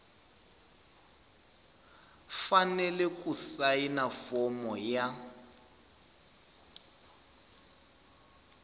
fanele ku sayina fomo ya